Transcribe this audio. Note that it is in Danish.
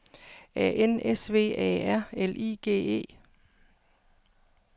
A N S V A R L I G E